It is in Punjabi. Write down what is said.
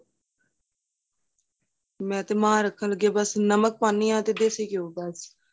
ਮੈਂ ਤੇ ਮਾਂ ਰੱਖਣ ਲੱਗੇ ਬੱਸ ਨਮਕ ਪਾਨੀ ਹਾਂ ਅਤੇ ਦਸੀਂ ਘੀ ਬੱਸ